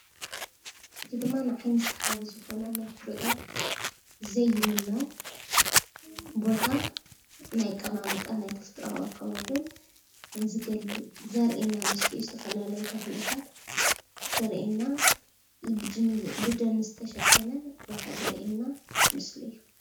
እዚ ድማ ንዓይኒ ሰሓቢ ዝኾነ ንኽትሪኦ ዘይምኖ ቦታ ናይ ኣቀማምጣ ናይ ተፈጥረኣዊ ኣከባብን ዝገልፅ ዘርእየና ምስሊ እዩ፤ ዝተፈላለዩ ተኽልታት ዘርእየና ብደን ዝተሸፈነ ቦታ ዘርእየና ምስሊ እዩ ።